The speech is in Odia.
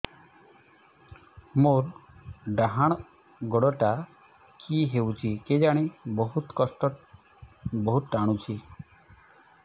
ମୋର୍ ଡାହାଣ୍ ଗୋଡ଼ଟା କି ହଉଚି କେଜାଣେ ବହୁତ୍ ଟାଣୁଛି